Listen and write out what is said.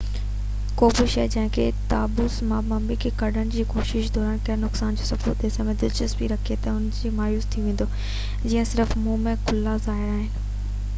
ڪو به شخص جنهن کي تابوت مان ممي کي ڪڍڻ جي ڪوشش دوران ڪيل نقصان جو ثبوت ڏسڻ ۾ دلچسپي رکي ٿو ته مايوس ٿي ويندو جيئن صرف منهن ۽ ڪلها ظاهر آهن